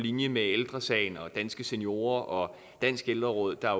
linje med ældre sagen og danske seniorer og danske ældreråd der